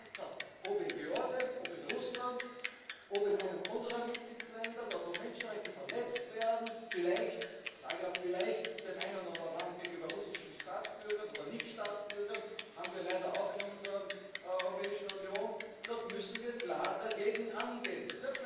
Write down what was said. Wie ich bereits sagte, ob in Georgien, ob in Russland, ob in einem unserer Mitgliedstaaten, dort, wo Menschenrechte verletzt werden, vielleicht in dem einen oder anderen Land gegenüber russischen Staatsbürgern oder Nichtstaatsbürgern das haben wir leider auch in unserer Europäischen Union dort müssen wir klar dagegen angehen.